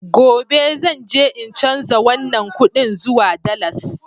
Gobe zan je in canza wannan kudin zuwa dalas